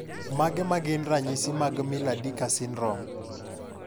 Mage magin ranyisi mag Miller Dieker Syndrome?